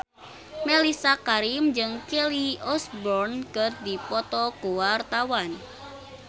Mellisa Karim jeung Kelly Osbourne keur dipoto ku wartawan